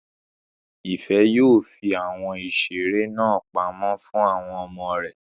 Ìfẹ́ yóò fi àwọn ìseré náà pamọ́ fún àwọn ọmọ rẹ̀